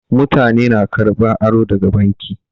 Mutane na karɓan aro daga banki.